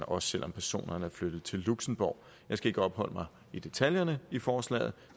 også selv om personerne er flyttet til luxembourg jeg skal ikke opholde mig ved detaljerne i forslaget